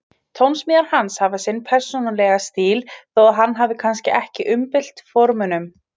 Tónsmíðar hans hafa sinn persónulega stíl þó að hann hafi kannski ekki umbylt formunum.